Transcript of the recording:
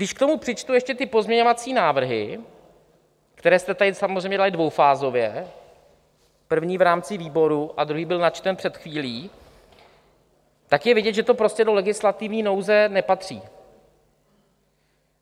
Když k tomu přičtu ještě ty pozměňovací návrhy, které jste tady samozřejmě dali dvoufázově, první v rámci výboru a druhý byl načten před chvílí, tak je vidět, že to prostě do legislativní nouze nepatří.